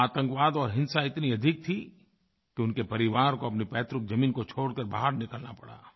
वहाँ आतंकवाद और हिंसा इतनी अधिक थी कि उनके परिवार को अपनी पैतृकज़मीन को छोड़ के बाहर निकलना पड़ा